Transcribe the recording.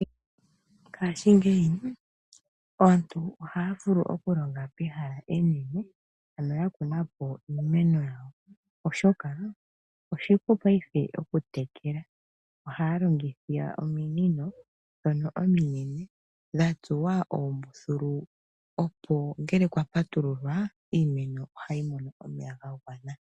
Mongaashingeyi aantu ohaya vulu okulonga pehala enene mpono ya kuna po iimeno yawo oshoka oshipu paife okuyi tekele oshoka ohaya longitha ominino ndhono ominene dha tsuwa oombululu, opo ngele kwa patululwa iimeno ohayi mono omeya ga gwana.